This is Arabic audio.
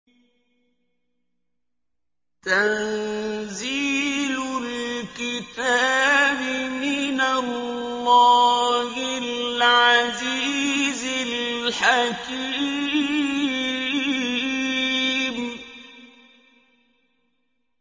تَنزِيلُ الْكِتَابِ مِنَ اللَّهِ الْعَزِيزِ الْحَكِيمِ